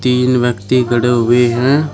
तीन व्यक्ति खड़े हुए हैं।